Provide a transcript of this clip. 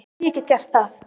Já, ég get gert það.